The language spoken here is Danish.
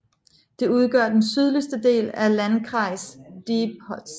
Det udgør den sydligste del af Landkreis Diepholz